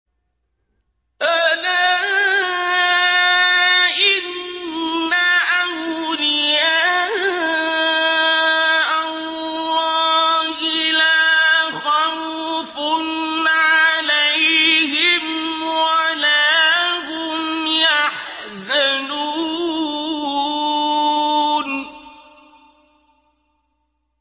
أَلَا إِنَّ أَوْلِيَاءَ اللَّهِ لَا خَوْفٌ عَلَيْهِمْ وَلَا هُمْ يَحْزَنُونَ